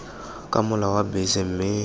ke mola wa bese mme